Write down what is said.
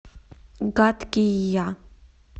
гадкий я